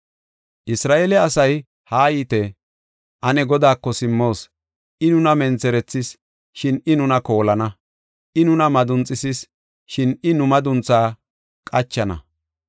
Isra7eele asay, “Haayite! Ane Godaako simmoos. I nuna mentherethis, shin I nuna koolana; I nuna madunxisis, shin I nu madunthaa qachana.